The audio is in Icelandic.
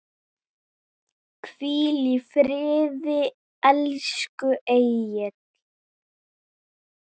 Hvíl í friði, elsku Egill.